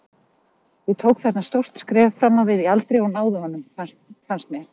Ég tók þarna stórt skref fram á við í aldri og náði honum fannst mér.